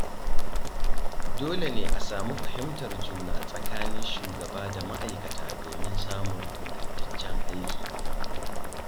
Dole ne a sami fahimtar juna tsakanin shugaba da ma’aikata domin samun ingantaccen aiki.